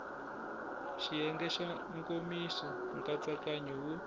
xiyenge xa nkomiso nkatsakanyo wo